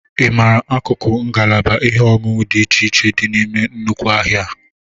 Ị mara akụkụ ngalaba ihe oṅụṅụ dị iche iche dị n'ime nnukwu ahịa a?